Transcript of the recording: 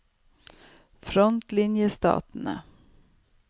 frontlinjestatene